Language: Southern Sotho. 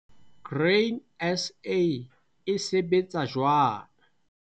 Grain SA - e sebetsa jwang